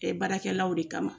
Baarakɛlaw de kama.